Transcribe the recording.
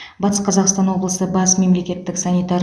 батыс қазақстан облысы бас мемлекеттік санитар